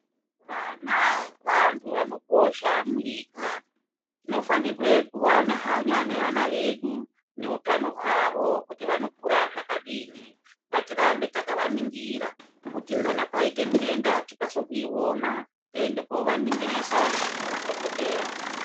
Vana vantu vanokosha munyika. Tinofanirwe kuva nehanya nevana vedu noutano hwavo kuti vanokura zvakadini. Ngatirambe takavaningira, kuti kana paite ndenda tikase kuiona toende koovaningirisa ngemadhokodheya.